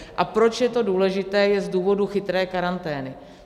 A proč je to důležité, je z důvodu chytré karantény.